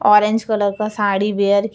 orange colour का sari wear --